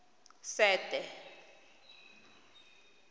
sete